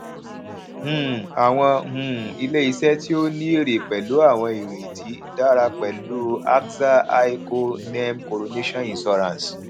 um àwọn um iléiṣẹ tí ó ní èrè pẹlú àwọn ìrètí dára pẹlú axa aiico nem coronation insurance